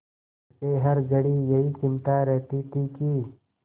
उसे हर घड़ी यही चिंता रहती थी कि